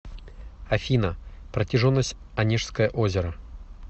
афина протяженность онежское озеро